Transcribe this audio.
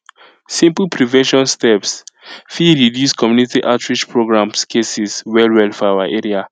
simple prevention steps fit reduce community outreach programs cases well well for our area